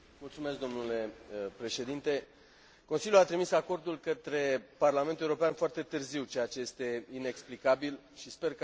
Consiliul a trimis acordul către Parlamentul European foarte târziu, ceea ce este inexplicabil și sper ca incidente de acest gen să nu se mai repete.